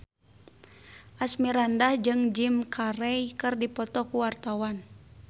Asmirandah jeung Jim Carey keur dipoto ku wartawan